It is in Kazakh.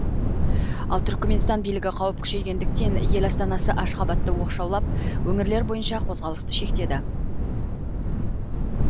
ал түрікменстан билігі қауіп күшейгендіктен ел астанасы ашхабадты оқшаулап өңірлер бойынша қозғалысты шектеді